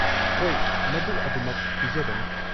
ꯍꯣꯏ, ꯃꯗꯨ ꯑꯗꯨꯃꯛ ꯄꯤꯖꯒꯅꯤ꯫